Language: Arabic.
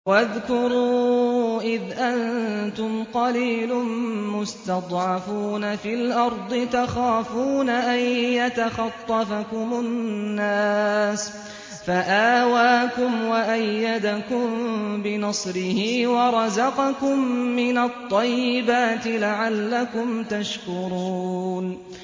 وَاذْكُرُوا إِذْ أَنتُمْ قَلِيلٌ مُّسْتَضْعَفُونَ فِي الْأَرْضِ تَخَافُونَ أَن يَتَخَطَّفَكُمُ النَّاسُ فَآوَاكُمْ وَأَيَّدَكُم بِنَصْرِهِ وَرَزَقَكُم مِّنَ الطَّيِّبَاتِ لَعَلَّكُمْ تَشْكُرُونَ